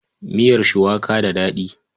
Miyar cuwaka da daɗi.